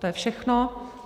To je všechno.